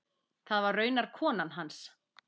Það var raunar konan hans.